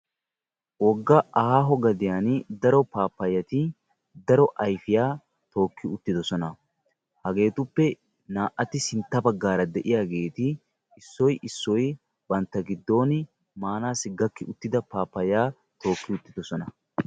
Woga aaho gaddiyan daro paappayati daro ayfiyaa tooki uttidosona, hageetuppe naa"ati sintta bagaara de'iyaageeti issoy issoy bantta giddon maanaassikka maanaassi gakki uttida pappayaa tookki uttidosona.